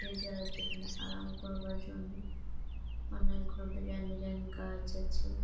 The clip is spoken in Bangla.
এই জায়গাটি এইখানে আরাম করবার জন্য অনেকগুলো ডিসাইন ডিসাইন গাছ আছে--